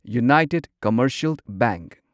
united commercial bank